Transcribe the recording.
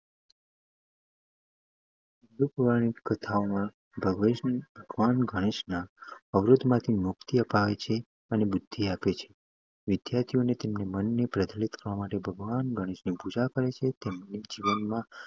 હિન્દુ પૌરાણિક કથાઓ ભગવાન ગણેશના અવરોધોમાંથી મુક્તિ અપાવે છે અને બુદ્ધિ આપે છે. વિદ્યાર્થીઓ તેમના મનને પ્રજ્વલિત કરવા માટે ભગવાન ગણેશની પૂજા કરે છે અને તેમને જીવનમાં